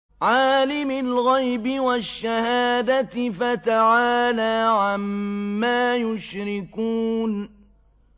عَالِمِ الْغَيْبِ وَالشَّهَادَةِ فَتَعَالَىٰ عَمَّا يُشْرِكُونَ